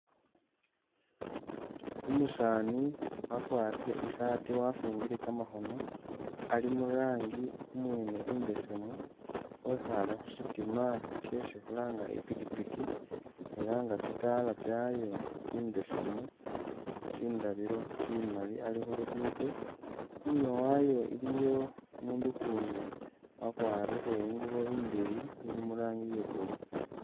Umusaani wakwarire isaati wafumbile kamakhono, ali murangi umwene imbesemu, wekhale khu shitima shesi khulanga i'pikipiki ela nga tsitala tsyayo tsimbesemu, tsindabilo tsimali, ali khulugudo, inyuma wayo iliyo umundu ukundi wakwarire ingubo indeyi ili murangi ye blue